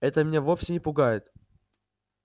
это меня вовсе не пугает